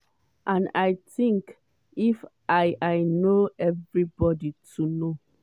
"and i think if i i know evribodi too know.